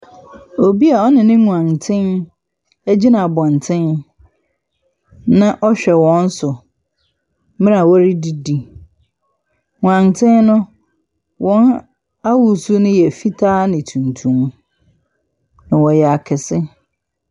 Obi a ɔne ne nganten gyina abɔnten, na ɔrehwɛ wɔn so mmerɛ a wɔredidi. Nganten no, wɔn ahosuo no yɛ fitaa ne tuntum. Wɔyɛ akɛse.